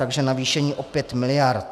Takže navýšení o 5 miliard.